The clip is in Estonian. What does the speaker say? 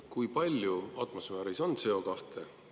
Kui palju on atmosfääris CO2?